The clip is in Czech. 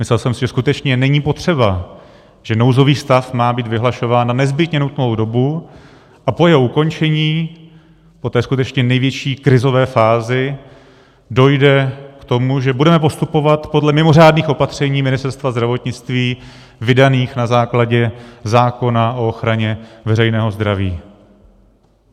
Myslel jsem si, že skutečně není potřeba, že nouzový stav má být vyhlašován na nezbytně nutnou dobu a po jeho ukončení, po té skutečně největší krizové fázi, dojde k tomu, že budeme postupovat podle mimořádných opatření Ministerstva zdravotnictví vydaných na základě zákona o ochraně veřejného zdraví.